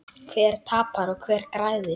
Hver tapar og hver græðir?